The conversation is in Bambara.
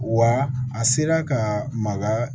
Wa a sera ka maga